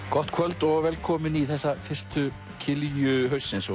gott kvöld og og velkomin í þessa fyrstu kilju haustsins